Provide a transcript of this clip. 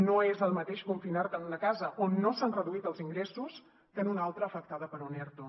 no és el mateix confinar te en una casa on no s’han reduït els ingressos que en un altra afectada per un erto